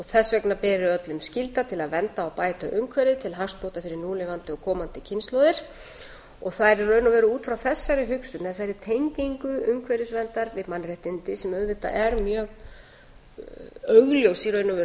þess vegna beri öllum skylda til að vernda og bæta umhverfið til hagsbóta fyrir núlifandi og komandi kynslóðir og það er í raun og veru út frá þessari hug þessari tengingu umhverfisverndar við mannréttindi sem auðvitað er mjög augljós í raun og veru þegar